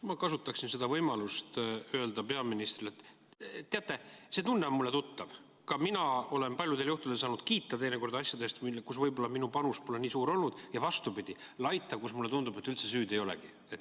Ma kasutaksin seda võimalust öelda peaministrile, et teate, see tunne on mulle tuttav: ka mina olen paljudel juhtudel saanud kiita asjade eest, kus võib-olla minu panus pole nii suur olnud, ja vastupidi, laita, kus mulle tundub, et üldse süüd ei olegi.